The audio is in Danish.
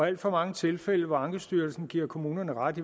alt for mange tilfælde hvor ankestyrelsen giver kommunerne ret